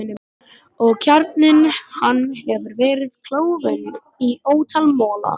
Og kjarninn hann hefur verið klofinn í ótal mola, miskunnarlaust.